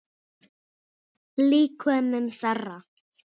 Líkömum þeirra.